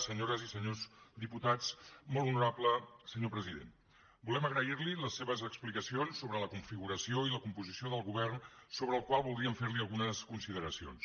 senyores i senyors diputats molt honorable senyor president volem agrair li les seves explicacions sobre la configuració i la composició del govern sobre el qual voldríem fer li algunes consideracions